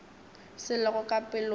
se lego ka pelong ya